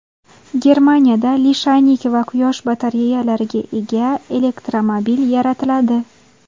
Germaniyada lishaynik va quyosh batareyalariga ega elektromobil yaratiladi.